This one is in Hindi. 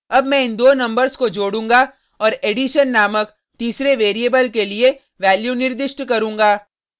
अब मैं इन दो नंबर्स को जोडूँगा और addition नामक तीसरे वेरिएबल के लिए वैल्यू निर्दिष्ट करूँगा